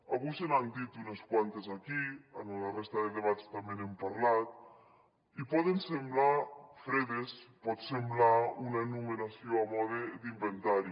avui se n’han dit unes quantes aquí en la resta de debats també n’hem parlat i poden semblar fredes pot semblar una enumeració a mode d’inventari